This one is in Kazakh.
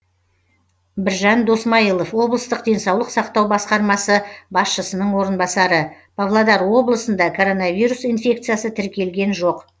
біржан досмайылов облыстық денсаулық сақтау басқармасы басшысының орынбасары павлодар облысында коронавирус инфекциясы тіркелген жоқ